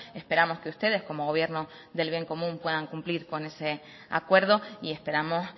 esperamos que ustedes como gobierno del bien común puedan cumplir con ese acuerdo y esperamos